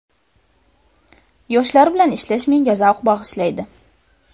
Yoshlar bilan ishlash menga zavq bag‘ishlaydi.